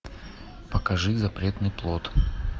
покажи запретный плод